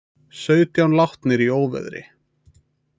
Sautján látnir í óveðri